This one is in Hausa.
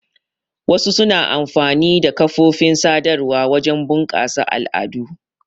Wasu suna amfani da kafofin sadarwa wajen bunƙasa al'adu.